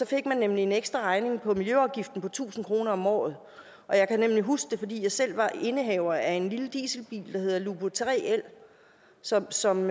fik man nemlig en ekstraregning på miljøafgiften på tusind kroner om året jeg kan huske det fordi jeg selv var indehaver af en lille dieselbil der hedder lupo 3l som som